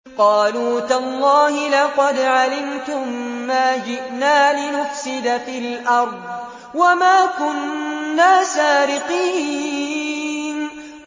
قَالُوا تَاللَّهِ لَقَدْ عَلِمْتُم مَّا جِئْنَا لِنُفْسِدَ فِي الْأَرْضِ وَمَا كُنَّا سَارِقِينَ